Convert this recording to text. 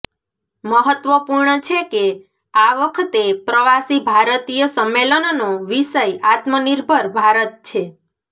મહત્વપૂર્ણ છે કે આ વખતે પ્રવાસી ભારતીય સમ્મેલનનો વિષય આત્મનિર્ભર ભારત છે